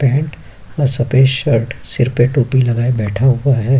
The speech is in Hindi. पैंट और सफ़ेद शर्ट सिर पे टोपी लगाए हुये बैठा हुआ है।